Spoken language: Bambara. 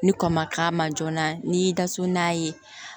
Ni kɔ ma k'a ma joona n'i y'i da so n'a ye